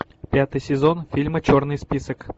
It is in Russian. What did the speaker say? пятый сезон фильма черный список